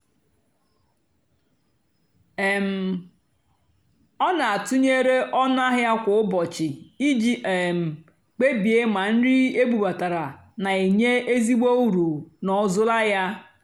um ọ́ nà-àtụ́nyeré ónú àhịá kwá ụ́bọ̀chị́ ìjì um kpèbíè mà nrì ébúbátárá nà-ènyé ézìgbò ùrù n'òzúlà yá.